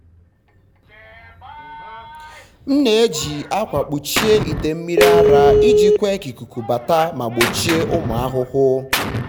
m na-eji akwa kpuchie ite mmiri ara iji kwe ka ikuku bata ma gbochie ụmụ ahụhụ.